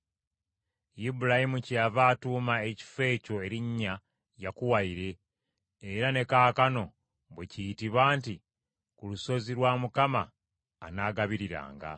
Ibulayimu kyeyava atuuma ekifo ekyo erinnya Mukama alitugabirira , era ne kaakano bwe kiyitibwa nti ku lusozi lwa Mukama anaagabiriranga.